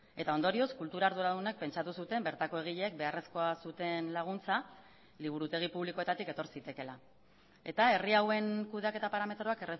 eta ondorioz kultura arduradunak pentsatu zuten bertako egileek beharrezkoa zuten laguntza liburutegi publikoetatik etor zitekeela eta herri hauen kudeaketa parametroak